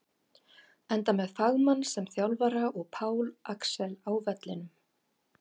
Enda með fagmann sem þjálfara og Pál Axel á vellinum!